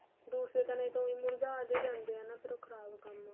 ਦੂਸਰੇ ਤਨੇ ਤਾਂ ਉਈ ਮੁਰਜਾ ਜੇ ਜਾਂਦੇ ਏ ਨਾ ਫ਼ਿਰ ਉਹ ਖਰਾਬ ਕੰਮ